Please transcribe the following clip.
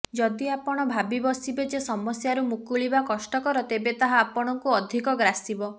ଯଦି ଆପଣ ଭାବି ବସିବେ ଯେ ସମସ୍ୟାରୁ ମୁକୁଳିବା କଷ୍ଟକର ତେବେ ତାହା ଆପଣଙ୍କୁ ଅଧିକ ଗ୍ରାସିବ